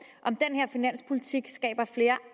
om den her finanspolitik skaber flere